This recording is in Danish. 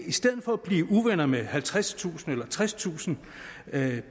i stedet for at blive uvenner med halvtredstusind eller tredstusind